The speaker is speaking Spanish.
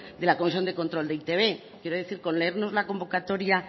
de la comisión de control de e i te be quiero decir que con leernos la convocatoria